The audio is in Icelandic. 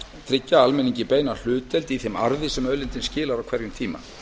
tryggja almenningi beina hlutdeild í þeim arði sem auðlindin skilar á hverjum tíma